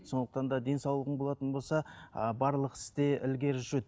сондықтан да денсаулығың болатын болса ыыы барлық істе ілгері жүреді